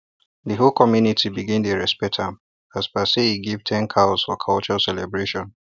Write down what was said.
the whole community begin dey respect am as per say e give ten cows for culture celebration